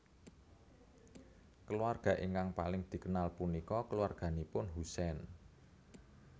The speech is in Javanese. Keluarga ingkang paling dikenal punika keluarganipun Husein